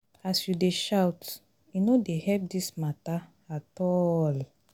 as you dey shout e no dey help dis mata at all.